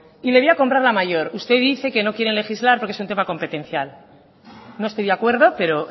y le voy a comprar la mayor usted dice que no quieren legislar porque es un tema competencial no estoy de acuerdo pero